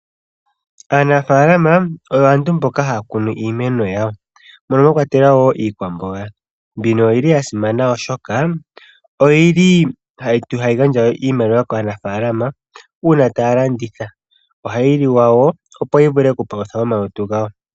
Aanafaalama oyo aantu mboka haya kunu iimeno yawo mono mwakwatelwa woo iikwamboga. Mbino oyili yasimana oshoka oyili hayi gandja iimaliwa kaanafalama uuna taya landitha, ohayi liwa woo, opo yavule okupaluthe omalutu gawo.